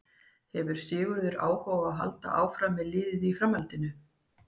Hefði Sigurður áhuga á því að halda áfram með liðið í framhaldinu?